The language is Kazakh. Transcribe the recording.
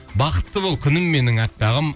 бақытты бол күнім менің аппағым